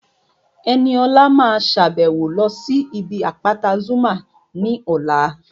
Ẹniọlá máa sàbẹ̀wo lọ sí ibi àpáta Zuma ní ọ̀la